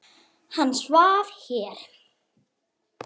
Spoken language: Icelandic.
Þeir voru í sjötta bekk.